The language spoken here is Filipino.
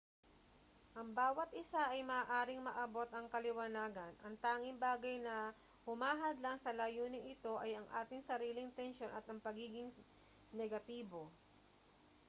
ang bawat isa ay maaaring maabot ang kaliwanagan ang tanging bagay na humahadlang sa layuning ito ay ang ating sariling tensyon at ang pagiging negatibo